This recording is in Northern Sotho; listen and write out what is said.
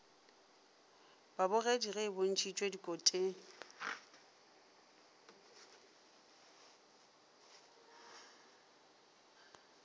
babogedi ge e bontšhitšwe dikoteng